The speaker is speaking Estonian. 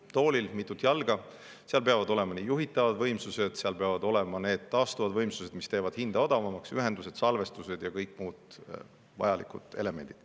Nagu toolil on vaja mitut jalga, peavad olema juhitavad võimsused, seal peavad olema taastuvad võimsused, mis teevad hinda odavamaks, ühendused, salvestised ja kõik muud vajalikud elemendid.